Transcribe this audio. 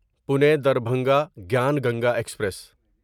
Pune Darbhanga Gyan Ganga express